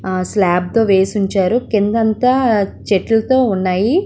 Slab వేసి ఉంచారు. కింద అంత చెట్టుతో ఉనాయి.